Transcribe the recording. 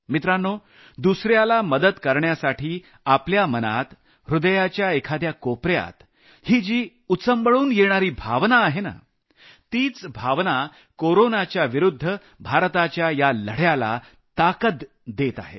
मित्रांनो दुसऱ्याला मदत करण्यासाठी आपल्या मनात ह्रदयाच्या एखाद्या कोपऱ्यात ही जी उचंबळून येणारी भावना आहे नं तीच भावना कोरोनाच्या विरूद्ध भारताच्या या लढ्याला ताकद देत आहे